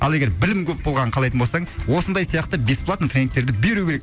ал егер білім көп болғанын қалайтын болсаң осындай сияқты бесплатно тренингтерді беру керек